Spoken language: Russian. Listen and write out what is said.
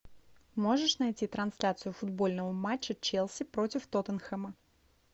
можешь найти трансляцию футбольного матча челси против тоттенхэма